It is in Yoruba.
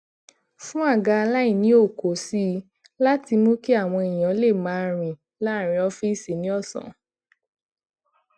fún àga alainiookoo sí i láti mú kí àwọn èèyàn lè máa rìn laaarin ọfiisi ni òsán